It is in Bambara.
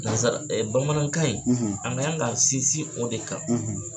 Nanzara bamanankan in, , an ka yan ka sinsin o de kan,